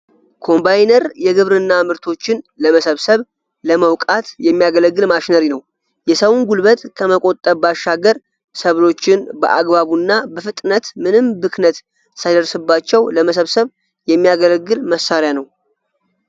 ኮምባይነር የግብርና ምርቶችን ለመሰብሰብ፣ ለመውቃት የሚያገለግል ማሽነሪ ነው። የሰውን ጉልበት ከመቆጠብ ባሻገር ሰብሎችን በአግባቡ እና በፍጥነት ምንም ብክነት ሳይደርስባቸው ለመሰብሰብ የሚያገለግል መሳሪያ ነው።